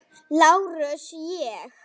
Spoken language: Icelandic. LÁRUS: Ég?